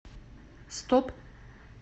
стоп